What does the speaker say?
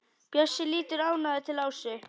Bjössi lítur ánægður til Ásu.